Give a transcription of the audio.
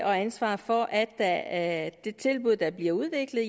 og ansvar for at at det tilbud der bliver udviklet